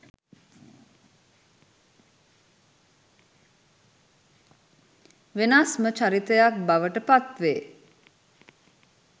වෙනස්ම චරිතයක් බවට පත් වේ.